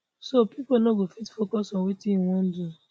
so pipo no go fit focus on wetin e wan do